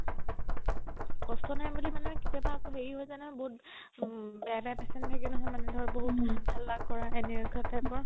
কষ্ট নাই বুলি মানে কেতিয়াবা আকৌ হেৰি হয় যাই নহয় বহুত বহুত হাল্লা কৰা এনেকুৱা type ৰ